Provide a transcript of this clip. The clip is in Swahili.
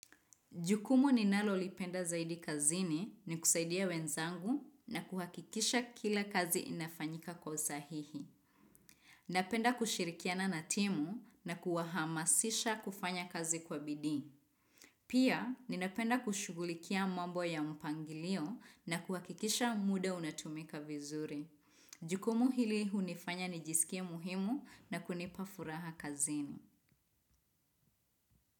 Jukumu ninalolipenda zaidi kazini ni kusaidia wenzangu na kuhakikisha kila kazi inafanyika kwa usahihi. Napenda kushirikiana na timu na kuwahamasisha kufanya kazi kwa bidii. Pia, ninapenda kushughulikia mambo ya mpangilio na kuhakikisha muda unatumika vizuri. Jukumu hili hunifanya nijisikie muhimu na kunipa furaha kazini.